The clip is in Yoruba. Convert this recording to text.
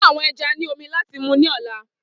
Fun awọn ẹja ni omi lati mu ni ọla!